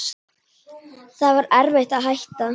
Það var erfitt að hætta.